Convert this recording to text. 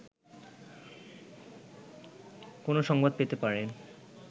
কোনো সংবাদ পেতে পারেন